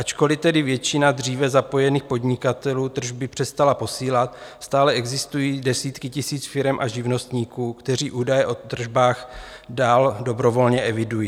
Ačkoli tedy většina dříve zapojených podnikatelů tržby přestala posílat, stále existují desítky tisíc firem a živnostníků, kteří údaje o tržbách dál dobrovolně evidují.